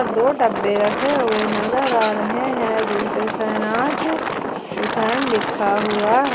दो डब्बे रखे हुए नजर आ रहे हैं जिनपे शहनाज हुसैन लिखा हुआ है।